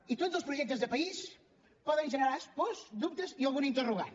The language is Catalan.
i tots els projectes de país poden generar pors dubtes i algun interrogant